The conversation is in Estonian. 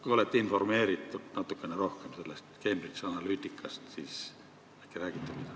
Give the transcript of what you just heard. Kui olete informeeritud natuke rohkem sellest Cambridge Analyticast, siis äkki räägite midagi.